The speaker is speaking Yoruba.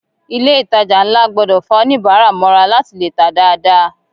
Ilé ìtàjà nlá gbọdọ fà oníbárà mọra láti lè tá dáadáa.